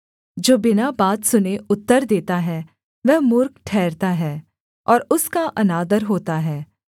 जो बिना बात सुने उत्तर देता है वह मूर्ख ठहरता है और उसका अनादर होता है